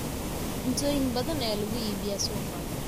Cuntoyin badan ayaa lagu iibiyaa suuqa.